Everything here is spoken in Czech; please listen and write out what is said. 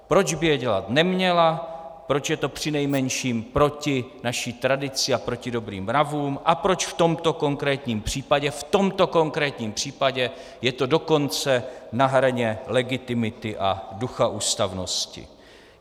Proč by je dělat neměla, proč je to přinejmenším proti naší tradici a proti dobrým mravům a proč v tomto konkrétním případě, v tomto konkrétním případě je to dokonce na hraně legitimity a ducha ústavnosti.